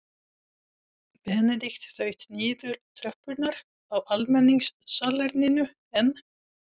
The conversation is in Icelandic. Benedikt þaut niður tröppurnar á almenningssalerninu en